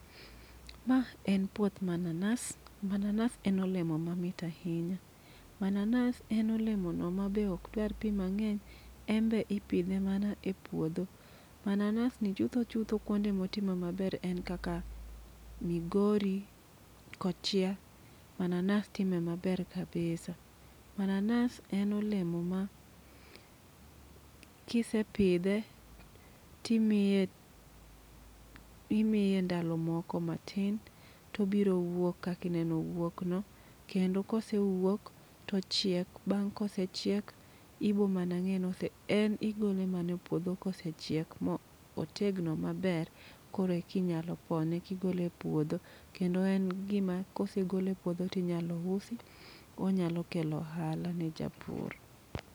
Ma en puoth mananas, mananas en olemo ma mit ahinya. Mananas en olemo no ma be ok dwar pi mang'eny, embe ipidhe mana e puodho. Mananas ni chutho chutho kuonde motime maber en kaka Migori, Kochia, mananas time maber kabisa. Mananas en olemo ma kise pidhe, timiye imiye ndalo moko matin, tobiro wuok kakineno owuok no. Kendo kose wuok, tochiek, bang' kosechiek, ibo mana ng'e ni en igole mane puodho kosechiek mo otegno maber. Koreki nyalo pone kigole e puodho, kendo en gima kose gole puodho tinyalo usi. Onyalo kelo ohala na japur.